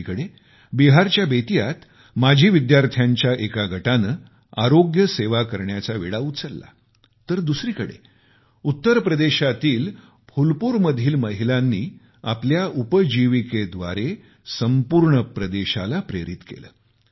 एकीकडे बिहारच्या बेतीयात माजी विद्यार्थ्यांच्या एका गटाने आरोग्य सेवा करण्याचा विडा उचलला तर दुसरीकडे उत्तर प्रदेशामधील फुलपूरमधील काही महिलांनी आपल्या उपजीविकेद्वारे संपूर्ण प्रदेशाला प्रेरित केले